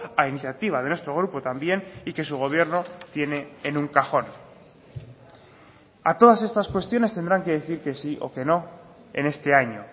a iniciativa de nuestro grupo también y que su gobierno tiene en un cajón a todas estas cuestiones tendrán que decir que sí o que no en este año